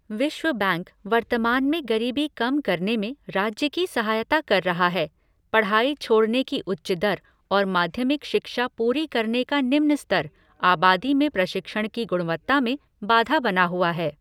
विश्व बैंक वर्तमान में गरीबी कम करने में राज्य की सहायता कर रहा है, पढ़ाई छोड़ने की उच्च दर और माध्यमिक शिक्षा पूरी करने का निम्न स्तर, आबादी में प्रशिक्षण की गुणवत्ता में बाधा बना हुआ है।